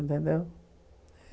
Entendeu?